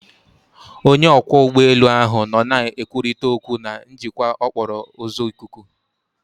Onye ọkwọ ụgbọelu ahụ nọ na-ekwurịta okwu na njikwa okporo ụzọ ikuku